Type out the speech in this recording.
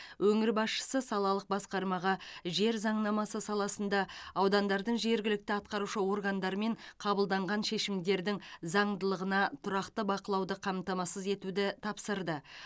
өңір басшысы салалық басқармаға жер заңнамасы саласында аудандардың жергілікті атқарушы органдарымен қабылданған шешімдердің заңдылығына тұрақты бақылауды қамтамасыз етуді тапсырды